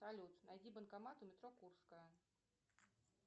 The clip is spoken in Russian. салют найди банкомат у метро курская